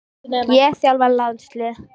Ég að þjálfa landslið?